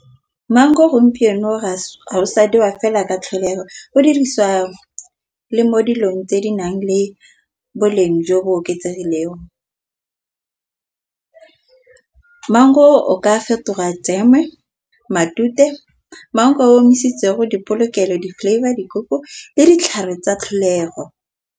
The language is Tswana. Maungo gompieno ga wa fela ka tlholego go dirisiwa le mo dilong tse di nang le boleng jo bo oketsegileng. Maungo o ka fetoga dijeme matute. Maungo a omisitse go dipolokelo di-flavour le ditlhare tsa tlholego.